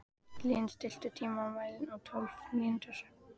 Lín, stilltu tímamælinn á tólf mínútur.